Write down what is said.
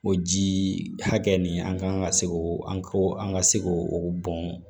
O ji hakɛ nin an kan ka se o an ko an ka se k'o o bɔn